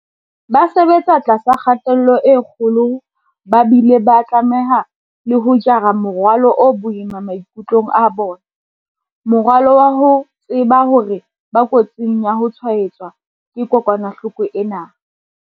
Ba sebetsa tlasa kgatello e kgolo ba bile ba tlameha le ho jara morwalo o boima maikutlong a bona, morwalo wa ho tseba hore ba kotsing ya ho tshwaetswa ke kokwanahloko ena.